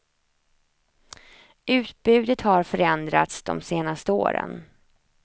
Utbudet har förändrats de senaste åren.